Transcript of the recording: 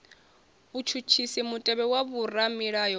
vhutshutshisi mutevhe wa vhoramilayo u